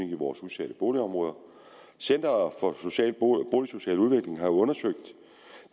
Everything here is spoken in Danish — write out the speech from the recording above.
i vores udsatte boligområder centeret for boligsocial udvikling har undersøgt